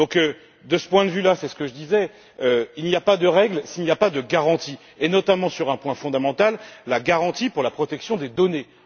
Donc, de ce point de vue, c'est ce que je disais, il n'y a pas de règles s'il n'y a pas de garanties, et notamment sur un point fondamental la garantie de la protection des données.